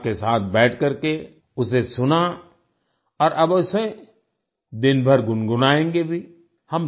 परिवार के साथ बैठकर के उसे सुना और अब उसे दिनभर गुनगुनाएंगे भी